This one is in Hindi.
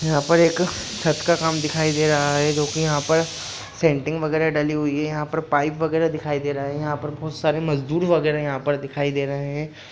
यहाँ पर‌ एक छत का काम दिखाई दे रहा है जो की यहाँ पर सेंटिंग वगेरा डली हुई है यहाँ पर पाइप वगेरा दिखाई दे रहा है यहाँ पर बहुत सारे मजदूर वगेरा यहां पर दिखाई दे रहे हैं।